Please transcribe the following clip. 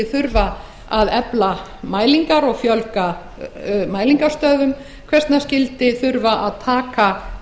þurfa að efla mælingar og fjölga mælingarstöðvum hvers vegna skyldi þurfa að taka